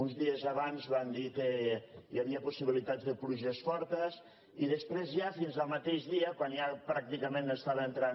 uns dies abans van dir que hi havia possibilitats de pluges fortes i després ja fins al mateix dia quan ja pràcticament estaven entrant